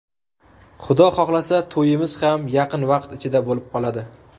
Xudo xohlasa, to‘yimiz ham yaqin vaqt ichida bo‘lib o‘tadi.